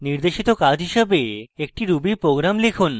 নির্দেশিত কাজ হিসাবে একটি ruby program লিখুন